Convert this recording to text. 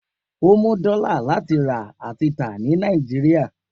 O mu dola lati ra ati ta ni Niajiria.